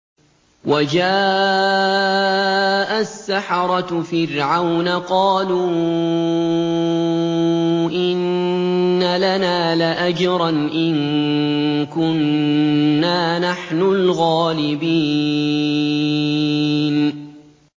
وَجَاءَ السَّحَرَةُ فِرْعَوْنَ قَالُوا إِنَّ لَنَا لَأَجْرًا إِن كُنَّا نَحْنُ الْغَالِبِينَ